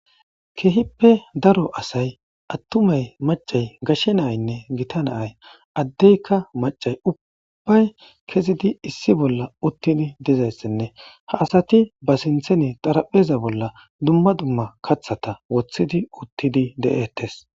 Kehippe daro asay attumay macay gashe naynne gita naay addeyka macay ubbay kezidi issi bolla uttini dizayssenne ha asati ba sinthene xarapheza bolla dumma dumma kathata wothidi uttidi de7ettes